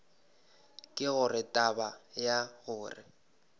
ke gore taba ya gore